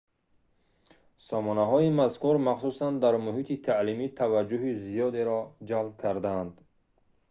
сомонаҳои мазкур махсусан дар муҳити таълимӣ таваҷҷӯҳи зиёдеро ҷалб карданд